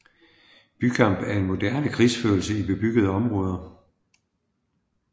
Bykamp er moderne krigsførelse i bebyggede områder